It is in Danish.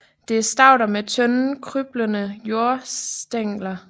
Det er stauder med tynde krybende jordstængler